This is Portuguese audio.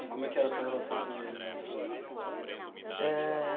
E como é que era a sua relação com eles na infância assim? Ah...